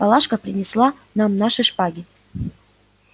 палашка принесла нам наши шпаги